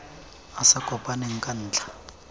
a sa kopaneng ka ntlha